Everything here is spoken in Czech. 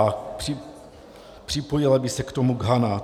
A připojila by se k tomu Ghana.